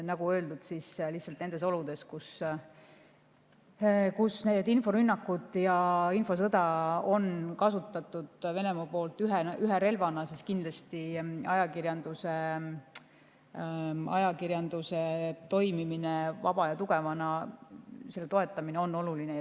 Nagu öeldud, nendes oludes, kus Venemaa on inforünnakuid ja infosõda kasutanud ühe relvana, on ajakirjanduse toimimine vaba ja tugevana ning selle toetamine kindlasti oluline.